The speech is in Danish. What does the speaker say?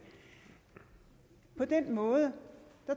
på den måde